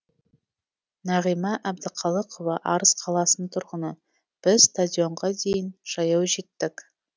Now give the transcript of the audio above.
нағима әбдіхалықова арыс қаласының тұрғыны біз стадионға дейін жаяу жеттік